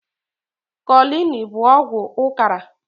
Kolini bu ọgwụ ụkara